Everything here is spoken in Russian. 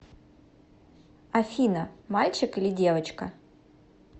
афина мальчик или девочка